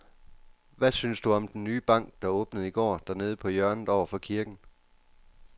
Hvad synes du om den nye bank, der åbnede i går dernede på hjørnet over for kirken?